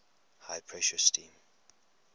high pressure steam